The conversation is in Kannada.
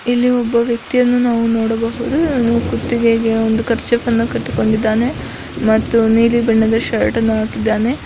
ಇಲ್ಲಿ ಒಬ್ಬ ವ್ಯಕ್ತಿಯನ್ನು ನಾವ ನೋಡಬಹುದು ಕುತ್ತಿಗೆಗೆ ಒಂದು ಕರ್ಚಿಫ ನ್ನು ಕಟ್ಟಿಕೊಂಡಿದ್ದಾನೆ ಮತ್ತು ನಿಲಿ ಬಣ್ಣದ ಶರ್ಟನ್ನು ಹಾಕಿದ್ದಾನೆ .